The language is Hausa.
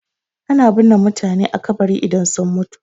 Ana binne mutane a kabari idan sun mutu.